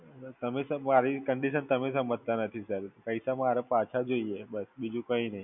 પણ તમે Sir મારી condition તમે સમજતા નથી Sir. પૈસા મારા પાછા જોઈએ બસ, બીજું કઈ નહીં.